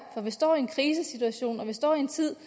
for vi står i en krisesituation og vi står i en tid